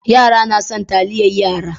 Yara na son taliyar yara.